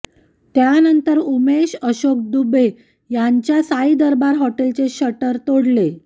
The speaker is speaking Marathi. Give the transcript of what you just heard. त्यानंतर उमेश अशोक डुबे यांच्या साई दरबार हॉटेलचे शटर तोडले